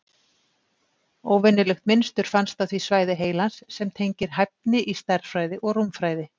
Óvenjulegt mynstur fannst á því svæði heilans sem tengist hæfni í stærðfræði og rúmfræði.